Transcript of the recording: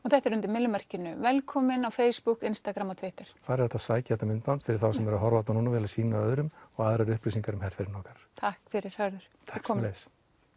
þetta er undir velkomin á Facebook Instagram og Twitter já þar er hægt að sækja þetta myndband fyrir þá sem eru að horfa núna og vilja sýna öðrum og aðrar upplýsingar um herferðina okkar takk fyrir Hörður takk sömuleiðis